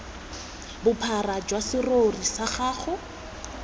bophara jwa serori sa gago